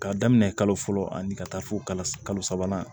K'a daminɛ kalo fɔlɔ ani ka taa fo kalo sabanan